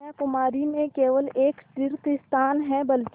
कन्याकुमारी में केवल एक तीर्थस्थान है बल्कि